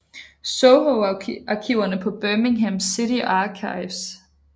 Soho arkiverne er på Birmingham City Archives